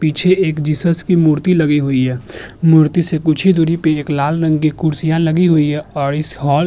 पीछे एक जीसस की मूर्ति लगी हुई है। मूर्ति से कुछ ही दूरी पे एक लाल रंग की कुर्सियां लगी हुई हैं और इस हॉल --